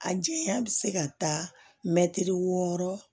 A janya bɛ se ka taa mɛtiri wɔɔrɔ